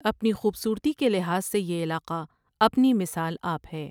اپنی خوبصورتی کے لحاظ سے یہ علاقہ اپنی مثال آپ ہے ۔